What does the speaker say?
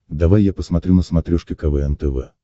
давай я посмотрю на смотрешке квн тв